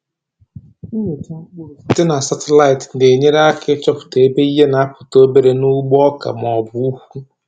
Nnyocha mkpụrụ site na satịlaịtị na-enyere aka ịchọpụta ebe ihe na-apụta obere n’ugbo oka ma ọ bụ ukwu.